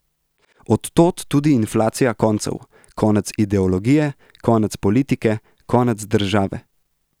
Od tod tudi inflacija koncev: 'konec ideologije', 'konec politike', 'konec države'.